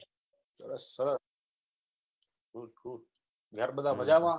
સરસ ઘર બધા મજામાં